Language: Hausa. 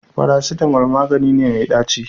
Farasitamo magani me mai ɗaci